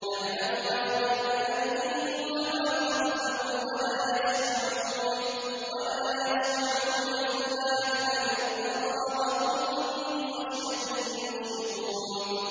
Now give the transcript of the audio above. يَعْلَمُ مَا بَيْنَ أَيْدِيهِمْ وَمَا خَلْفَهُمْ وَلَا يَشْفَعُونَ إِلَّا لِمَنِ ارْتَضَىٰ وَهُم مِّنْ خَشْيَتِهِ مُشْفِقُونَ